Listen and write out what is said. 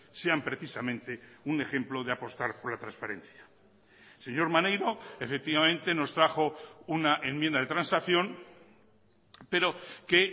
sean precisamente un ejemplo de apostar por la transferencia señor maneiro efectivamente nos trajo una enmienda de transacción pero que